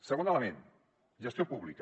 segon element gestió pública